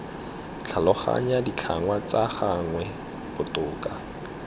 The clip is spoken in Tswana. tlhaloganya ditlhangwa tsa gagwe botoka